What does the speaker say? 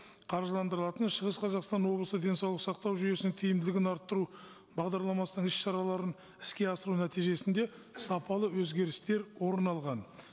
қаржыландырылатын шығыс қазақстан облысы денсаулық сақтау жүйесінің тиімділігін арттыру бағдарламасының іс шараларын іске асыру нәтижесінде сапалы өзгерістер орын алған